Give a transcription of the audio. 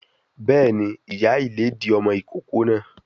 Béèni, ìyá ìlédìí ọmọ ìkókó náà